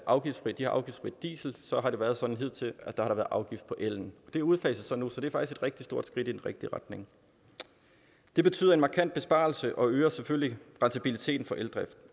afgiftsfri de har afgiftsfri diesel og så har det været sådan hidtil at der har været afgift på ellen det udfases nu så det er faktisk et rigtig stort skridt i den rigtige retning det betyder en markant besparelse og øger selvfølgelig rentabiliteten for eldrift